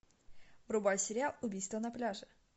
врубай сериал убийство на пляже